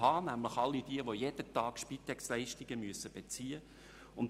Es handelt sich nämlich um all jene, die täglich Spitexleistungen beziehen müssen.